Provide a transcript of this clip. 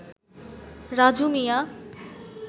Raju Mia